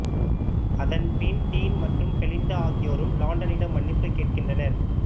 அதன் பின் டீன் மற்றும் பெலிண்டா ஆகியோரும் லாண்டனிடம் மன்னிப்பு கேட்கின்றனர்